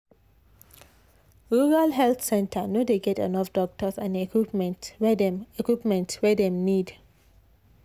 rural health center no dey get enough doctors and equipment wey dem equipment wey dem need.